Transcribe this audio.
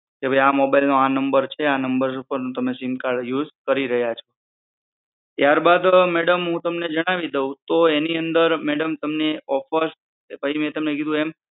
કે ભઈ આ મોબાઈલ નો આ નંબર છે આ નંબર પર તમે સિમ કાર્ડ યુઝ કરી રહ્યા છો ત્યાર મેડમ હું તમને જણાવી દઉં તો એની અંદર તમને ઑફર્સ